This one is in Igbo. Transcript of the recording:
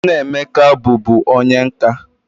Nna Emeka bu bu onye nka.